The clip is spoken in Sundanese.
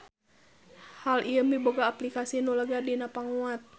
Hal ieu miboga aplikasi nu lega dina panguat.